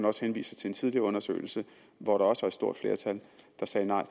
også henviser til en tidligere undersøgelse hvor der også var et stort flertal der sagde nej